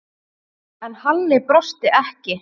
En Halli brosti ekki.